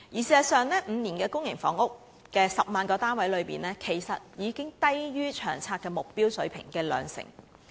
事實上 ，5 年提供10萬個公營房屋單位這數字，其實已較《長遠房屋策略》的目標水平低了兩成。